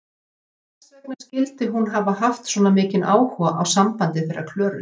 Hvers vegna skyldi hún hafa haft svona mikinn áhuga á sambandi þeirra Klöru?